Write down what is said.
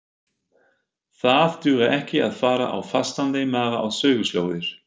Það dugar ekki að fara á fastandi maga á söguslóðir.